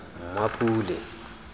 mmapule